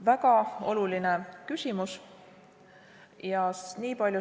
Väga oluline küsimus.